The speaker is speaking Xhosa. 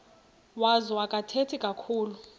wazo akathethi kakhulu